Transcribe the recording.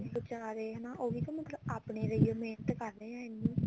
ਬਚਾਰੇ ਉਹ ਵੀ ਤਾਂ ਮਤਲਬ ਆਪਣੇ ਲਈ ਓ ਮਿਹਨਤ ਕਰਦੇ ਆ ਇੰਨੀ